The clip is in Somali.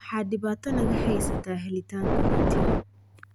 Waxa dhibaato naga haysata helitaanka rootiga.